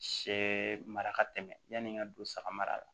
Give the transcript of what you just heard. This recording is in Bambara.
Sɛ mara ka tɛmɛ yani ka don saga mara la